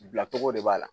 Bilacogo de b'a la